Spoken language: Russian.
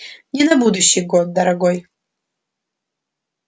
не на будущий год дорогой